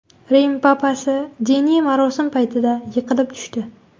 Rim papasi diniy marosim paytida yiqilib tushdi .